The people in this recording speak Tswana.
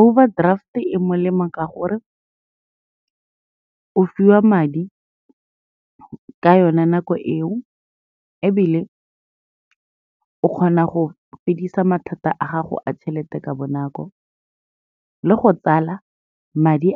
Overdraft-e e molemo ka gore, o fiwa madi ka yone nako eo ebile o kgona go fedisa mathata a gago a tšhelete ka bonako, le go tsala madi,